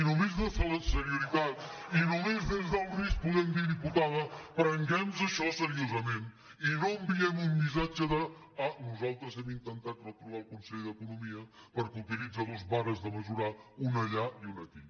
des de la seriositat i només des del risc podem dir diputada prenguemnos això seriosament i no enviem un missatge de ah nosaltres hem intentat reprovar el conseller d’economia perquè utilitza dues vares de mesurar una allà i una aquí